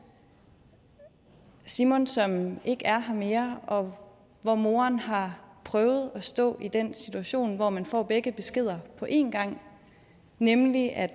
simon som ikke er her mere og hvor moren har prøvet at stå i den situation hvor man får begge beskeder på en gang nemlig at